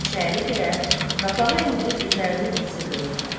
İçəri girər, qapağı endirib üzərini həssirlə örtər.